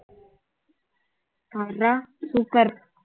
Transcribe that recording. பார்ரா super